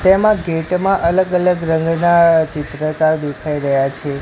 તેમા ગેટ મા અલગ અલગ રંગના ચિત્રતા દેખાય રહ્યા છે.